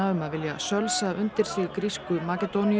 um að vilja sölsa undir sig grísku Makedóníu